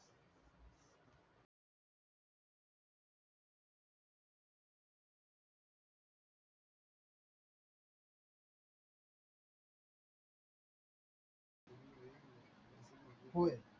होय